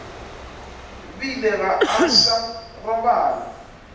bile ga a sa robala